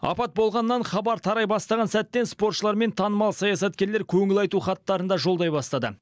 апат болғаннан хабар тарай бастаған сәттен спортшылар мен танымал саясаткерлер көңіл айту хаттарын да жолдай бастады